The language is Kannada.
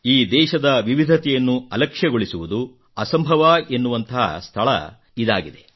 ಈ ದೇಶದ ವಿವಿಧತೆಯನ್ನು ಅಲಕ್ಷ್ಯಗೊಳಿಸುವುದು ಅಸಂಭವ ಎನ್ನುವಂತಹ ಸ್ಥಳ ಇದಾಗಿದೆ